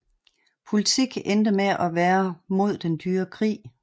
Politik endte med at være mod den dyre krig